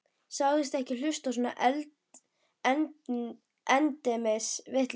Sagðist ekki hlusta á svona endemis vitleysu.